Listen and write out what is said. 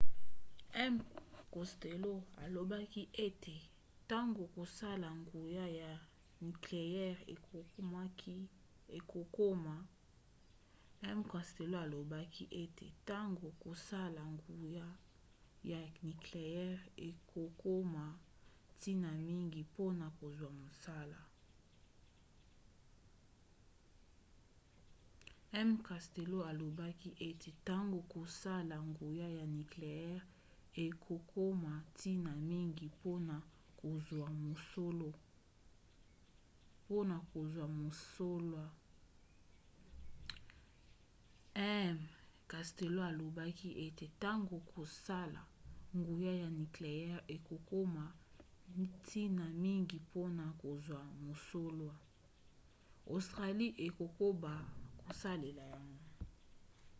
m costello alobaki ete ntango kosala nguya ya nikleyere ekokoma ntina mingi mpona kozwa mosola australie ekokoba kosalela yango